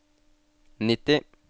nitti